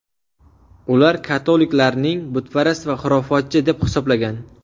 Ular katoliklarning butparast va xurofotchi deb hisoblagan.